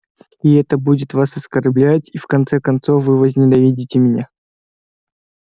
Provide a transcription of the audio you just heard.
и это будет вас оскорблять и в конце концов вы возненавидите меня